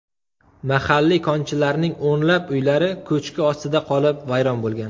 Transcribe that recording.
Mahalliy konchilarning o‘nlab uylari ko‘chki ostida qolib, vayron bo‘lgan.